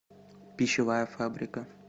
пищевая фабрика